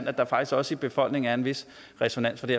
at der faktisk også i befolkningen er en vis resonans på det